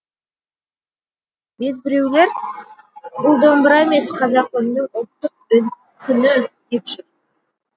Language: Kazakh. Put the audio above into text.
безбіреулер бұл домбыра емес қазақы үннің ұлттық күні деп жүр